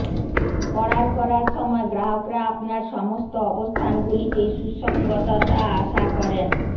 order করার সময় গ্রাহকরা আপনার সমস্ত অবস্থানগুলিতে সুসংগততা আশা করেন